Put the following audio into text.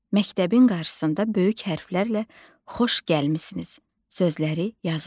Məktəbin qarşısında böyük hərflərlə xoş gəlmisiniz sözləri yazılıb.